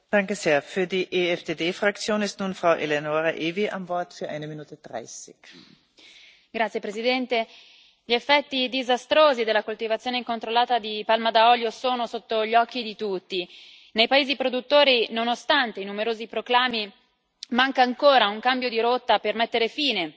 Signora Presidente, onorevoli colleghi, gli effetti disastrosi della coltivazione incontrollata di palma da olio sono sotto gli occhi di tutti. Nei paesi produttori, nonostante i numerosi proclami, manca ancora un cambio di rotta per mettere fine